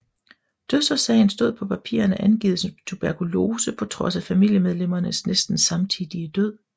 Dødsårsagen stod på papirerne angivet som tuberkulose på trods af familiemedlemmernes næsten samtidige død